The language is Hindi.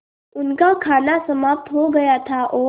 उनका खाना समाप्त हो गया था और